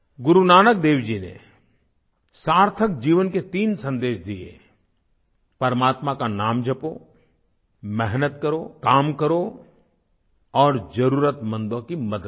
गुरु नानक देव जी ने सार्थक जीवन के तीन सन्देश दिए परमात्मा का नाम जपो मेहनत करो काम करो और ज़रुरतमंदों की मदद करो